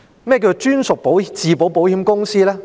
何謂"專屬自保保險公司"呢？